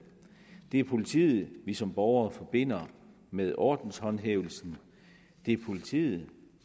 det er politiet vi som borgere forbinder med ordenshåndhævelsen det er politiet